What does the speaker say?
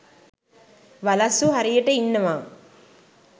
වලස්සු හරියට ඉන්නවා.